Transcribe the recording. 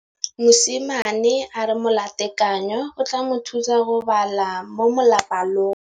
Mosimane a re molatekanyô o tla mo thusa go bala mo molapalong.